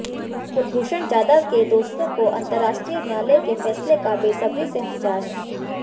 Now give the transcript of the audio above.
कुलभूषण जाधव के दोस्तों को अंतरराष्ट्रीय न्यायालय के फैसले का बेसब्री से इंतजार है